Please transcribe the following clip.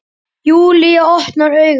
Júlía opnar augun.